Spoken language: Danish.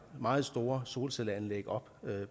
meget store solcelleanlæg op